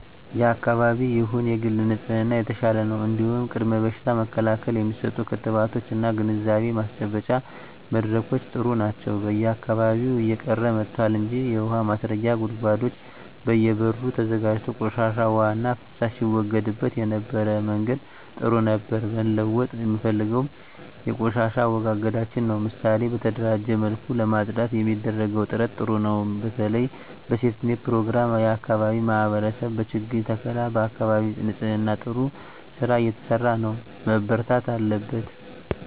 የአካባቢ ይሁን የግል ንጽህና የተሻለ ነው እንዲሁም ቅድመ በሽታ መከላከል የሚሰጡ ክትባቶች እና ግንዛቤ ማስጨበጫ መድረኮች ጥሩ ናቸው በየአካባቢው እየቀረ መጥቷል እንጂ የውሀ ማስረጊያ ጉድጓዶች በየ በሩ ተዘጋጅቶ ቆሻሻ ዉሃና ፍሳሽ ሲወገድበት የነበረበት መንገድ ጥሩ ነበር መለወጥ የምፈልገው የቆሻሻ አወጋገዳችንን ነው ምሳሌ በተደራጀ መልኩ ለማፅዳት የሚደረገው ጥረት ጥሩ ነው በተለይ በሴፍትኔት ፕሮግራም የአካባቢ ማህበረሰብ በችግኝ ተከላ በአካባቢ ንፅህና ጥሩ ስራ እየተሰራ ነው መበርታት አለበት